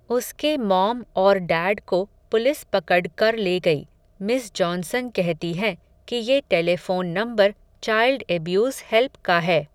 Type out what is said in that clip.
उसके मॉम और डैड को पुलिस पकड क़र ले गई, मिस जॉनसन कहती हैं, कि ये telephone number, child abuse help का है